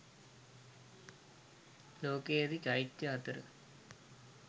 ලෝකයේ ඇති චෛත්‍ය අතර